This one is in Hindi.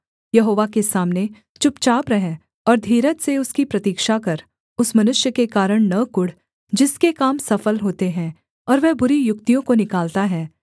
यहोवा के सामने चुपचाप रह और धीरज से उसकी प्रतिक्षा कर उस मनुष्य के कारण न कुढ़ जिसके काम सफल होते हैं और वह बुरी युक्तियों को निकालता है